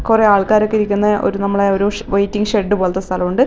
കുറെ ആൾക്കാരൊക്കെ ഇരിക്കുന്ന ഒരു നമ്മളെ ഷ് വെയിറ്റിംഗ് ഷെഡ് പോലത്തെ സ്ഥലവുണ്ട്.